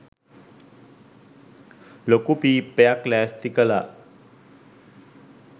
ලොකු පීප්පයක් ලෑස්ති කලා.